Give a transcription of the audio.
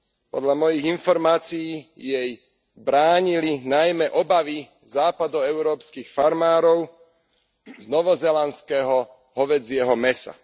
Podľa mojich informácií jej bránili najmä obavy západoeurópskych farmárov z novozélandského hovädzieho mäsa.